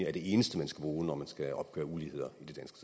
er det eneste man skal bruge når man skal opgøre uligheder